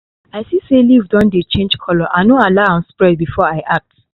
i see say leaf don dey change colour i no allow am spread before i act